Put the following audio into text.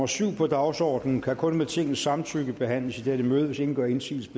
syv på dagsordenen kan kun med tingets samtykke behandles i dette møde hvis ingen gør indsigelse